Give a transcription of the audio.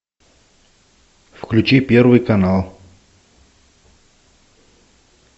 включи первый канал